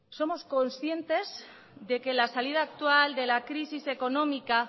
somos conscientes de que la salida actual de la crisis económica